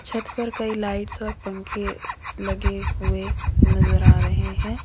छत पर कई लाइट्स और पंखे लगे हुए नजर आ रहे हैं।